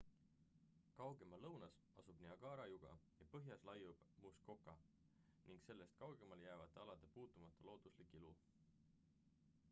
kaugemal lõunas asub niagara juga ja põhjas laiub muskoka ning sellest kaugemale jäävate alade puutumata looduslik ilu